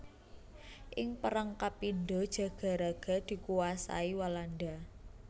Ing perang kapindho Jagaraga dikuwasai Walanda